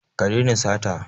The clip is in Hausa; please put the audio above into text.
Ka daina sata.